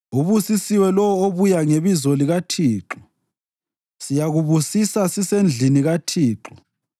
Ubusisiwe lowo obuya ngebizo likaThixo. Siyakubusisa sisendlini kaThixo.